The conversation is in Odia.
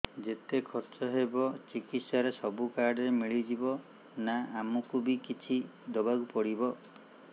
ଯେତେ ଖର୍ଚ ହେବ ଚିକିତ୍ସା ରେ ସବୁ କାର୍ଡ ରେ ମିଳିଯିବ ନା ଆମକୁ ବି କିଛି ଦବାକୁ ପଡିବ